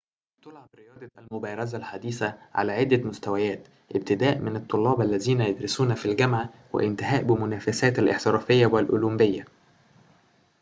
تُلعب رياضة المبارزة الحديثة على عدة مستويات ابتداءً من الطلاب الذين يدرسون في الجامعة وانتهاءً بمنافسات الاحترافية والأولمبية